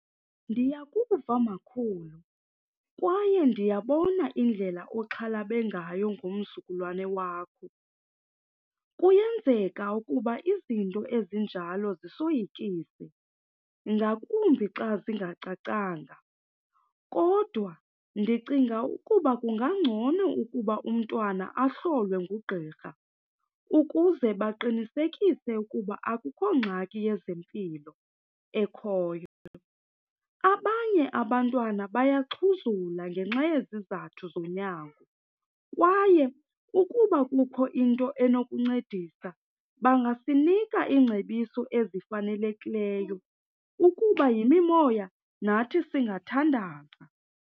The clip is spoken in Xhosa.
Ndiyakuva makhulu kwaye ndiyabona indlela oxhalabe ngayo ngomzukulwane wakho. Kuyenzeka ukuba izinto ezinjalo zisoyikise, ngakumbi xa zingacacanga. Kodwa ndicinga ukuba kungangcono ukuba umntwana ahlolwe ngugqirha ukuze baqinisekise ukuba akukho ngxaki yezempilo ekhoyo. Abanye abantwana bayaxhuzula ngenxa yezizathu zonyango kwaye ukuba kukho into enokuncedisa, bangasinika iingcebiso ezifanelekileyo. Ukuba yimimoya, nathi singathandaza.